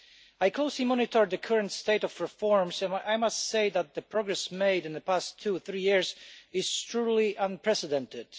I closely monitor the current state of reforms, and I must say that the progress made in the past two or three years is truly unprecedented.